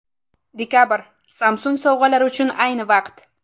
Dekabr – Samsung sovg‘alari uchun ayni vaqt.